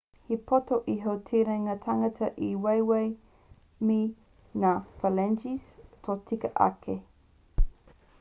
he poto iho te ringa tangata i te waewae me ngā phalanges tōtika ake